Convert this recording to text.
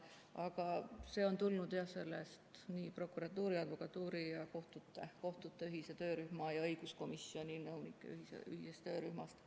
Aga see on tulnud prokuratuuri, advokatuuri, kohtute ning õiguskomisjoni nõunike ühisest töörühmast.